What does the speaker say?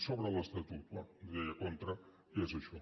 sobre l’estatut bé hi deia contra ja és això